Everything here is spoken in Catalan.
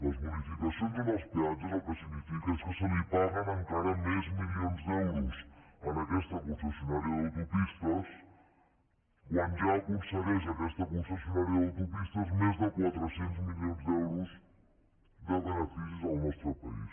les bonificacions en els peatges el que significa és que se li paguen encara més milions d’euros en aquesta concessionària d’autopistes quan ja aconsegueix aquesta concessionària d’autopistes més de quatre cents milions d’euros de beneficis al nostre país